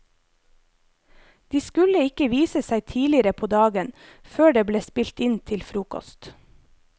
De skulle ikke vise seg tidligere på dagen, før det ble spilt inn til frokost.